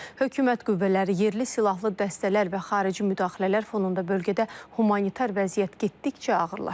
Hökumət qüvvələri, yerli silahlı dəstələr və xarici müdaxilələr fonunda bölgədə humanitar vəziyyət getdikcə ağırlaşır.